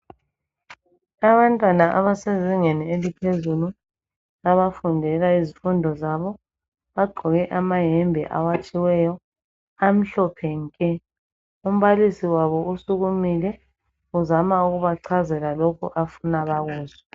Abantwana abasezingeni eliphezulu abafundela izifundo zabo bagqoke amayembe awatshiweyo amhlophe nke. Umbalisi wabo usukumile, uzama ukubachazela lokho afuna bakuzwe.